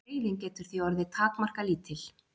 reiðin getur því orðið takmarkalítil